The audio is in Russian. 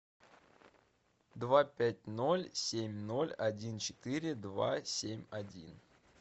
два пять ноль семь ноль один четыре два семь один